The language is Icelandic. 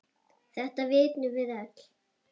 Þetta vitum við öll.